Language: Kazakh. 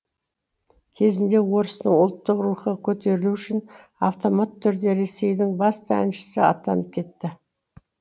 кезінде орыстың ұлттық рухы көтерілуі үшін автомат түрде ресейдің басты әншісі атанып кетті